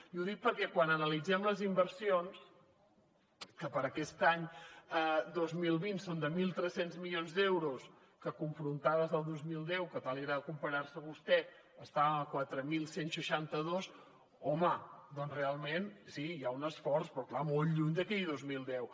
i ho dic perquè quan analitzem les inversions que per a aquest any dos mil vint són de mil tres cents milions d’euros que confrontades al dos mil deu amb què tant li agrada comparar se vostè estan a quatre mil cent i seixanta dos home doncs realment sí hi ha un esforç però clar molt lluny d’aquell dos mil deu